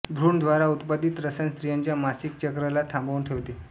भ्रूण द्वारा उत्पादित रसायन स्त्रियांच्या मासिक चक्र ला थांबवून ठेवते